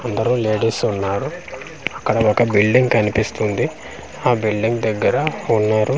అందరూ లేడీసు ఉన్నారు అక్కడ ఒక బిల్డింగ్ కనిపిస్తుంది ఆ బిల్డింగ్ దెగ్గర ఉన్నారు.